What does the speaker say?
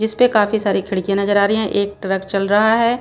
जिसपे काफी सारी खिड़कियां नजर आ रही हैं एक ट्रक चल रहा है।